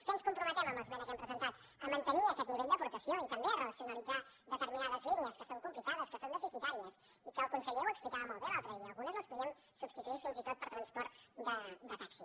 a què ens comprometem en l’esmena que hem presentat a mantenir aquest nivell d’aportació i també a racionalitzar determinades línies que són complicades que són deficitàries i que el conseller ho explicava molt bé l’altre dia algunes les podíem substituir fins i tot per transport de taxi